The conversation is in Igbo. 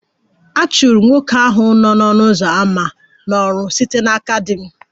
A chụrụ nwoke ahụ n'ọnụ ụzọ ámá n'ọrụ site n'aka di m